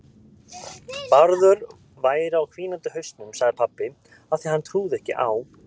Bárður væri á hvínandi hausnum, sagði pabbi, af því að hann trúði ekki á